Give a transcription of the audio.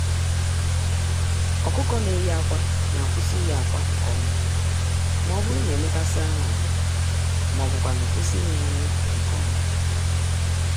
ọkụkọ-ndị-neyi-ákwà n'akwụsị iyi-akwa nke ọma mọbụrụ na emekasịa ha ahụ, m'ọbu kwanụ kwụsị ịnye ha nri nke ọma